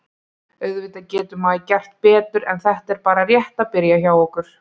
Auðvitað getur maður gert betur en þetta er bara rétt að byrja hjá okkur.